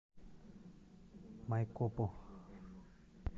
майкопу